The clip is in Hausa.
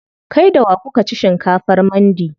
Kai da wa kuka ci shinkafar mandi?